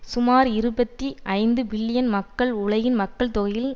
சுமார் இருபத்தி ஐந்து பில்லியன் மக்கள் உலகின் மக்கள்தொகையில்